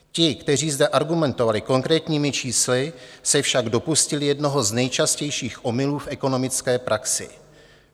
Ti, kteří zde argumentovali konkrétními čísly, se však dopustili jednoho z nejčastějších omylů v ekonomické praxi.